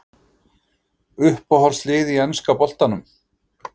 Uppáhaldslið í enska boltanum?